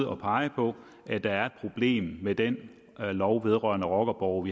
at pege på at der er et problem med den lov vedrørende rockerborge